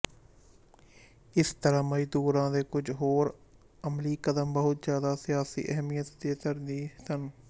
ਇਸ ਤਰ੍ਹਾਂ ਮਜ਼ਦੂਰਾਂ ਦੇ ਕੁੱਝ ਹੋਰ ਅਮਲੀ ਕਦਮ ਬਹੁਤ ਜ਼ਿਆਦਾ ਸਿਆਸੀ ਅਹਿਮੀਅਤ ਦੇ ਧਾਰਨੀ ਸਨ